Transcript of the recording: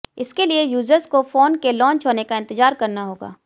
इसके लिए यूजर्स को फोन के लॉन्च होने का इंतजार करना होगा